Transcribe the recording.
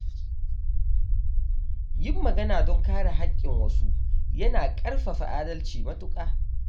Yin magana don kare haƙƙin wasu yana ƙarfafa adalci matuƙa.